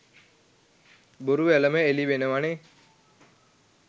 බොරු වැලම එළි වෙනවනෙ.